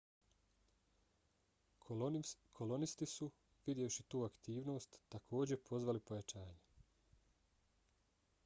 kolonisti su vidjevši tu aktivnost takođe pozvali pojačanje